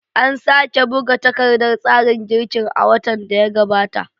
An sake buga takardar tsarin girkin a watan da ya gabata.